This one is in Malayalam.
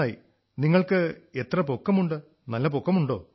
നന്നായി നിങ്ങൾക്ക് എത്ര പൊക്കമുണ്ട് നല്ല പൊക്കമുേണ്ടാ